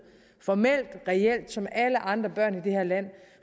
formelt og reelt som alle andre børn i det her land